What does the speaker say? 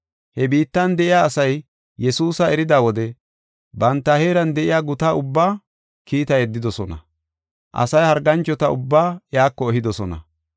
He biittan de7iya asay Yesuusa erida wode banta heeran de7iya guta ubba kiita yeddidosona. Asay harganchota ubbaa iyako ehidosona.